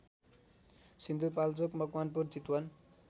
Sindhupalchok Makwanpur Chitwan